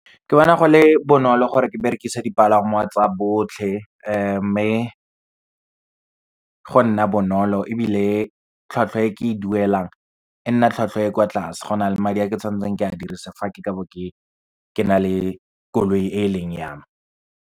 Ke bona go le bonolo gore ke berekise dipalangwa tsa botlhe, mme go nna bonolo ebile tlhwatlhwa e ke e duelang e nna tlhwatlhwa e kwa tlase, go na le madi a ke tshwanetseng ke a dirisa fa ke bo ke na le koloi e e leng yame.